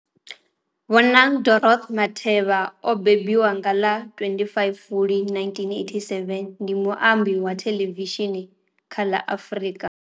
Bonang Dorothy Matheba o mbembiwa nga ḽa 25 Fulwi 1987, ndi muambi wa thelevishini kha la Afrika